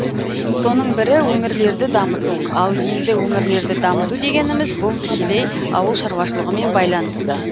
соның бірі өңірлерді дамыту ал енді өңірлерді дамыту дегеніміз бұл тікелей ауыл шаруашылығымен байланысты